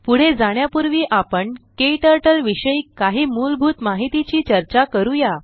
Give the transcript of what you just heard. पुढे जाण्यापुर्वी आपण क्टर्टल विषयी काही मूलभूत माहितीची चर्चा करूया